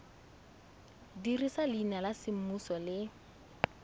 dirisa leina la semmuso le